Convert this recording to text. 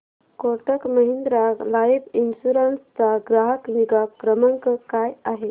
Kotak Mahindra life insurance चा ग्राहक निगा क्रमांक काय आहे